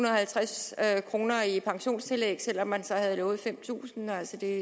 at kroner i pensionstillæg selv om man så havde lovet fem tusind altså det er